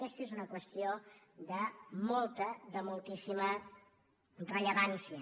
aquesta és una qüestió de molta de moltíssima rellevància